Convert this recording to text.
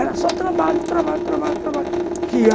Era só trabalho, trabalho, trabalho, trabalho. Que a